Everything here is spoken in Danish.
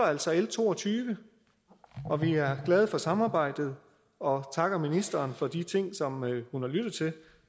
altså l to og tyve og vi er glade for samarbejdet og takker ministeren for de ting som hun har lyttet til